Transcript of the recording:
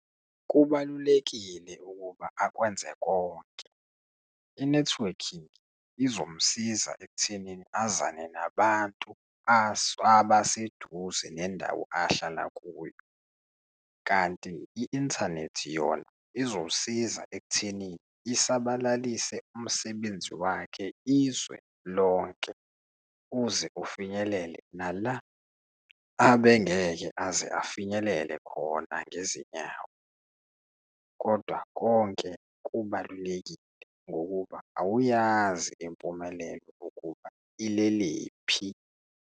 Kubalulekile ukuba akwenze konke, i-networking izomsiza ekuthenini azane nabantu abaseduze nendawo ahlala kuyo. Kanti i-inthanethi yona izomsiza ekuthenini isabalalise umsebenzi wakhe izwe lonke uze ufinyelele nala abengeke afinyelele khona ngezinyawo. Kodwa konke kubalulekile, ngokuba awuyazi impumelelo ukuba ilelephi.